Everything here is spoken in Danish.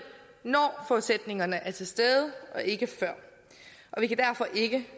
når forudsætningerne er til stede og ikke før vi kan derfor ikke